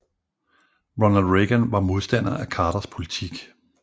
Ronald Reagan var modstander af Carters politik